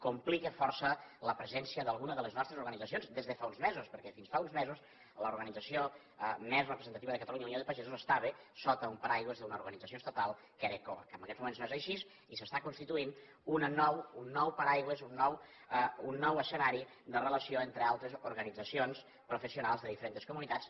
complica força la presència d’alguna de les nostres organitzacions des de fa uns mesos perquè fins fa uns mesos l’organització més representativa de catalunya unió de pagesos estava sota un paraigua d’una organització estatal que era coag en aguests moments no és així i s’està constituint un nou paraigua un nou escenari de relació entre altres organitzacions professionals de diferents comunitats